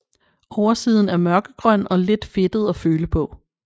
Oversiden er mørkegrøn og lidt fedtet at føle på